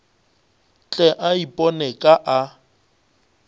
tle a iponele ka a